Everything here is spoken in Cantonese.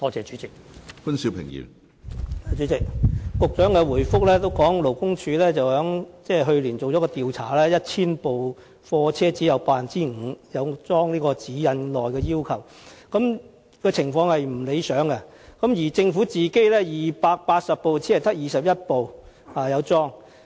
主席，局長的主體答覆指出，勞工處去年曾進行一項調查，結果顯示，在1000部貨車之中，只有 5% 安裝了《指引》內要求的裝置，情況並不理想，而政府本身的280部車輛之中，亦只有21輛安裝了安全裝置。